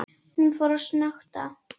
Hún fór að snökta.